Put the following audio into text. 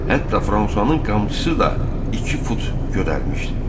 Hətta Fransanın qamçısı da iki fut gödərmişdi.